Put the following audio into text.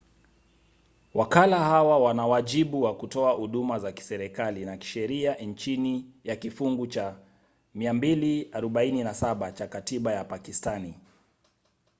wakala hawa wana wajibu wa kutoa huduma za kiserikali na kisheria chini ya kifungu cha 247 cha katiba ya pakistani